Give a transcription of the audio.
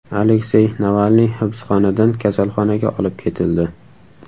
Aleksey Navalniy hibsxonadan kasalxonaga olib ketildi.